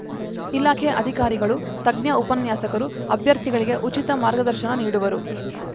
ಇಲಾಖೆ ಅಧಿಕಾರಿಗಳು ತಜ್ಞ ಉಪನ್ಯಾಸಕರು ಅಭ್ಯರ್ಥಿಗಳಿಗೆ ಉಚಿತ ಮಾರ್ಗದರ್ಶನ ನೀಡುವರು